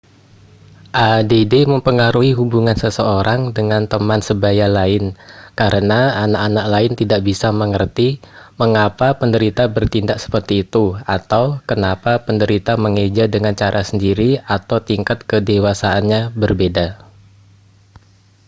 add mempengaruhi hubungan seseorang dengan teman sebaya lain karena anak-anak lain tidak bisa mengerti mengapa penderita bertindak seperti itu atau kenapa penderita mengeja dengan cara sendiri atau tingkat kedewasaannya berbeda